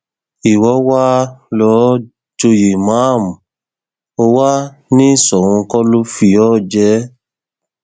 ìwọ wàá lò ó joyè ìmáàmù ó wàá ní soun kó lọ fi ọ jẹ ẹ